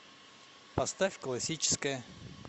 поставь классическая